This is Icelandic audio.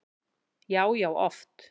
Já, já oft.